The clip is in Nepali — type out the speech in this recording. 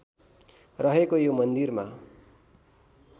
रहेको यो मन्दिरमा